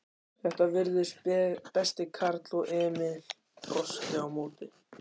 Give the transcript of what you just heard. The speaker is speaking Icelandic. Þetta virtist besti karl og Emil brosti á móti.